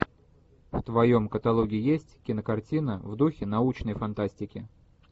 в твоем каталоге есть кинокартина в духе научной фантастики